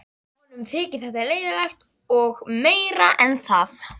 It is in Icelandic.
Honum þyki þetta leiðinlegt og meira en það.